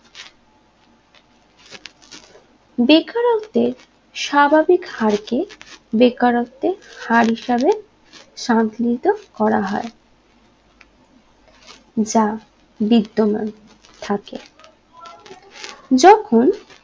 বেকারত্বের স্বাভাবিক হার কে বেকারত্বে হার হিসাবে সাধিনিত্ম করা হয় যা বিদ্ধমান থাকে যখন